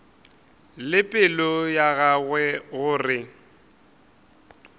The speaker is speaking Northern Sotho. le pelo ya gagwe gore